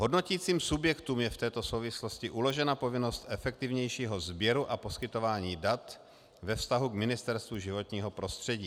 Hodnotícím subjektům je v této souvislosti uložena povinnost efektivnějšího sběru a poskytování dat ve vztahu k Ministerstvu životního prostředí.